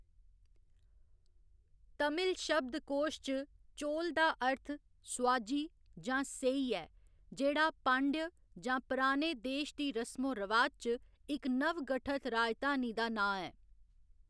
तमिल शब्दकोश च, चोल दा अर्थ सोआजी जां सेई ऐ जेह्‌‌ड़ा पांड्य जां पुराने देश दी रसमो रवाज च इक नवगठत राजधानी दा नांऽ ऐ।